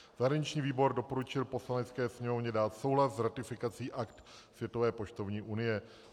Zahraniční výbor doporučil Poslanecké sněmovně dát souhlas s ratifikací Akt Světové poštovní unie.